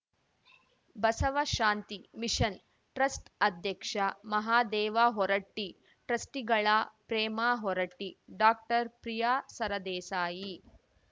Basavashanti mission trust ಅಧ್ಯಕ್ಷ ಮಹಾದೇವ ಹೊರಟ್ಟಿ ಟ್ರಸ್ಟಿಗಳಾ Prema Horatti doctor Priya Sardesai